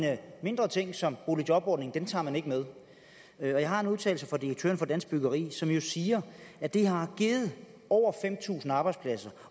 mindre ting som boligjobordningen med jeg har en udtalelse fra direktøren for dansk byggeri som jo siger at det har givet over fem tusind arbejdspladser